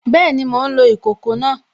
Bẹ́ẹ̀ni, mò ń lo ìkòkò náà